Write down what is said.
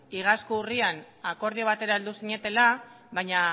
iazko urrian akordio batera heldu zinetela baina